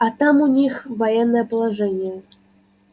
а там у них военное положение